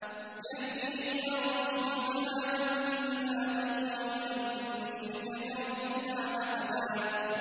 يَهْدِي إِلَى الرُّشْدِ فَآمَنَّا بِهِ ۖ وَلَن نُّشْرِكَ بِرَبِّنَا أَحَدًا